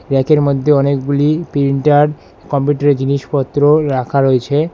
র্যাকের মধ্যে অনেকগুলি প্রিন্টার কম্পিউটারের জিনিসপত্র রাখা রয়েছে।